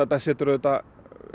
auðvitað